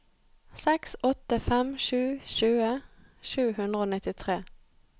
seks åtte fem sju tjue sju hundre og nittitre